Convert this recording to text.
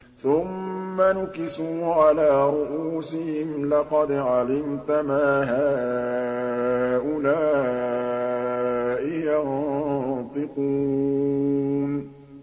ثُمَّ نُكِسُوا عَلَىٰ رُءُوسِهِمْ لَقَدْ عَلِمْتَ مَا هَٰؤُلَاءِ يَنطِقُونَ